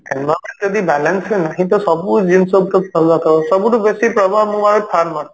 environment ଯଦି balance ରେ ନାହିଁ ତ ସବୁ ଜିନିଷ ଉପରେ ପ୍ରଭାବ ସବୁଠୁ ବେଶୀ ପ୍ରଭାବ ମୁଁ ଭାବେ farmer